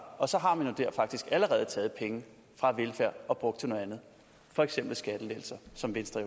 og så har man jo der faktisk allerede taget penge fra velfærd og brugt til noget andet for eksempel skattelettelser som venstre